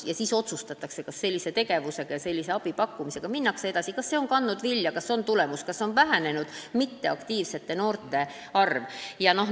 Selle põhjal otsustatakse, kas sellise abi pakkumisega minnakse edasi – kas senine tegevus on vilja kandnud, kas sellel on tulemusi, kas mitteaktiivsete noorte arv on vähenenud.